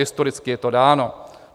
Historicky je to dáno.